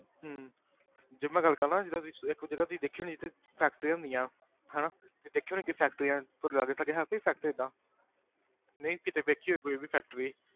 ਹਮ ਜੇ ਮੈਂ ਗੱਲ ਕਰਾਂ ਜਿੱਦਾਂ ਤੁਸੀਂ ਇੱਕ ਹੁਣ ਜਿੱਦਾਂ ਤੁਸੀਂ ਦੇਖੀ ਹੋਣੀ ਜਿੱਥੇ factories ਹੁੰਦੀਆਂ ਹਨਾ ਤੁਸੀਂ ਦੇਖੀ ਹੋਣੀ ਕਿ factories ਤੁਹਾਡੇ ਲਾਗੇ ਸਾਗੇ ਹੈ ਕੋਈ factory ਏਦਾਂ ਨਹੀਂ ਕਿਤੇ ਵੇਖੀ ਹੋਏ ਕੋਈ ਵੀ factory